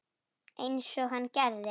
Einsog hann gerði.